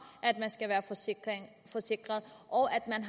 at man skal være forsikret og